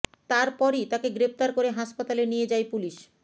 তারপরই তাকে গ্রেপ্তার করে হাসপাতালে নিয়ে যায় পুলিস